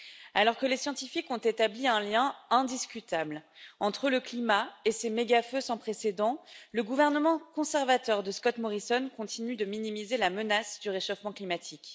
Alors que les scientifiques ont établi un lien indiscutable entre le climat et ces méga feux sans précédent, le gouvernement conservateur de Scott Morrison continue de minimiser la menace du réchauffement climatique.